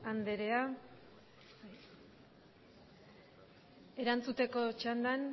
anderea erantzuteko txandan